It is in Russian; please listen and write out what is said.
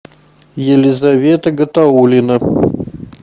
елизавета гатаулина